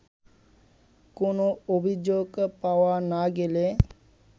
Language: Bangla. কোনো অভিযোগ পাওয়া না গেলে